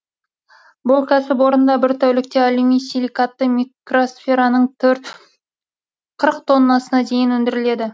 бұл кәсіпорында бір тәулікте алюмосиликатты микросфераның қырық тоннасына дейін өндіріледі